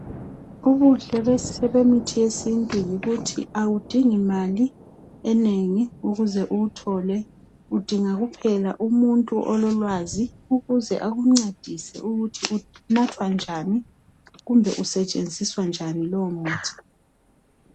Ubuhle bemithi yesintu yikuthi awudingi mali enengi ukuze uwuthole , udinga kuphela umuntu ololwazi ukuze akuncedise ukuthi unathwa njani kumbe usetshenziswa njani lowo muthi .